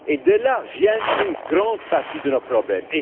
Et de là vient une grande partie de nos problèmes.